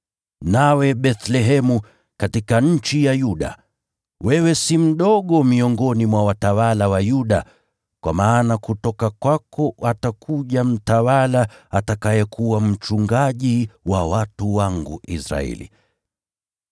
“ ‘Nawe, Bethlehemu, katika nchi ya Yuda, wewe si mdogo miongoni mwa watawala wa Yuda; kwa maana kutoka kwako atakuja mtawala atakayekuwa mchungaji wa watu wangu Israeli.’ ”